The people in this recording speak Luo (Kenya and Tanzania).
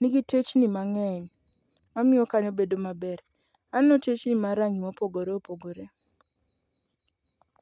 nigi techni mang'eny mamiyo kanyo bedo maber. Aneno techni mag rangi mopogore opogore.